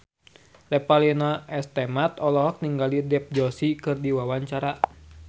Revalina S. Temat olohok ningali Dev Joshi keur diwawancara